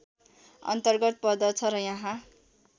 अन्तर्गत पर्दछ र यहाँ